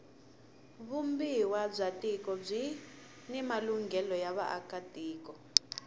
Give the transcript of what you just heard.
vumbiwa bya tiko byini malunghelo ya vaaka tiko